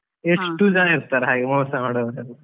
ಎಷ್ಟು ಜನ ಇರ್ತಾರೆ ಹಾಗೆ ಮೋಸ ಮಾಡುವವರೆಲ್ಲ.